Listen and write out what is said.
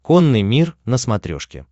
конный мир на смотрешке